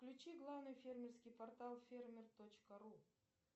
включи главный фермерский портал фермер точка ру